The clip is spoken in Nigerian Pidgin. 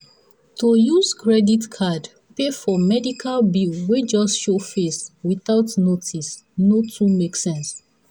to use credit card pay for medical bill wey just show face without notice no too make sense.